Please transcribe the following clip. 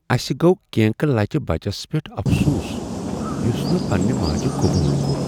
اسہ گوٚو کرینکہٕ لچۍ بچس پیٹھ افسوس یٗس نہٕ پننِہ ماجہ قبول کوٚر۔